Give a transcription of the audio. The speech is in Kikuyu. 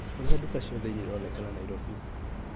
Nyonia nduka ciothe iria ironekana Naĩrobĩ .